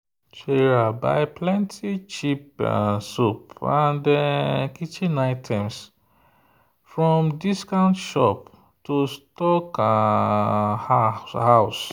sarah buy plenty cheap soap and kitchen items from discount shop to stock um house.